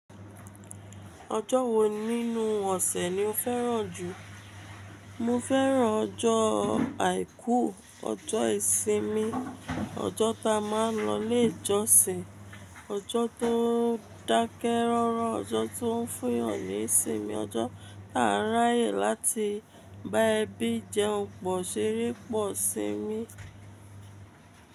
Ọjọ́ wo nínú ọ̀sẹ̀ ni o fẹ́ràn jù? Mo fẹ́ràn ọjọ́ àìkú, ọjọ́ ìsinmi, ọjọ́ ta má a ń lọ ilé ìjọsìn, ọjọ́ tó dákẹ́ rọ́rọ́, ọjọ́ tó ń fún yàn ní ìsinmi, ọjọ́ tá n ráyè láti bá ẹbí jẹun pọ̀ ṣeré pọ̀ sinmi.